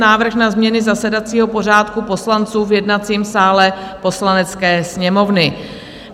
Návrh na změny zasedacího pořádku poslanců v jednacím sále Poslanecké sněmovny